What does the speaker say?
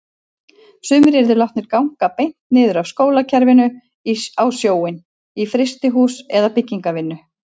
Sumir yrðu látnir ganga beint niður af skólakerfinu á sjóinn, í frystihús eða byggingarvinnu.